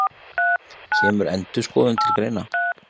Kemur endurskoðun til greina?